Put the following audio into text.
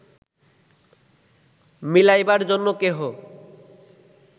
মিলাইবার জন্য কেহ